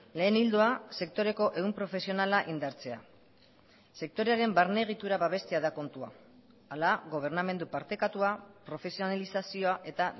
lehen ildoa sektoreko ehun profesionala indartzea sektorearen barne egitura babestea da kontua hala gobernamendu partekatua profesionalizazioa eta